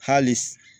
Hali s